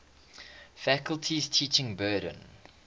faculty's teaching burden